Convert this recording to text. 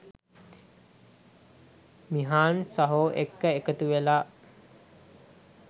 මිහාන් සහෝ එක්ක එකතු වෙලා